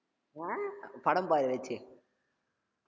அஹ் அப்ப படம் பாரு ஏதாச்சு